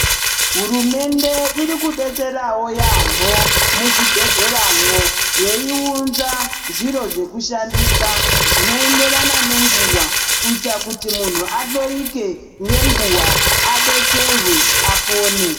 Hurumende iri kudetserawo yampho muzvibhedhleramwo yeiunza zviro zvekushandisa zvinoenderana nenguwa kuitira kuti muntu ahloyike ngenguwa adetserwae apone.